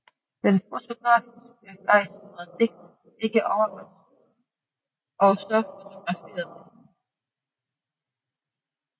Den fotografibegejstrede digter blev ikke overraskende også fotograferet af hende